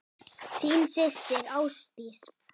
Þín systir Ásdís.